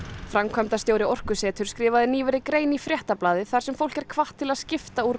framkvæmdastjóri Orkuseturs skrifaði nýverið grein í Fréttablaðið þar sem fólk er hvatt til að skipta úr